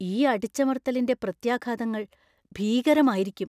ഈ അടിച്ചമർത്തലിന്‍റെ പ്രത്യാഘാതങ്ങള്‍ ഭീകരമായിരിക്കും.